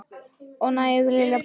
Oft nægði hlýja brosið hans.